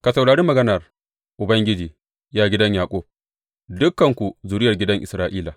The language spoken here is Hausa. Ka saurari maganar Ubangiji, ya gidan Yaƙub, dukanku zuriyar gidan Isra’ila.